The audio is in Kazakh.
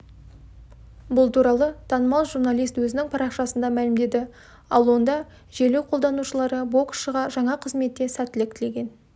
бұл туралы танымал журналист өзінің парақшасында мәлімдеді ол онда желі қолданушылары боксшыға жаңа қызметте сәттілік тілеген